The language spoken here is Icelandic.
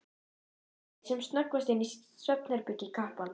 Kíkir sem snöggvast inn í svefnherbergi kappans.